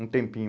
Um tempinho.